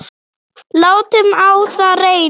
Látum á það reyna!